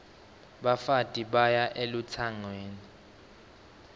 bafati baya elutsangweni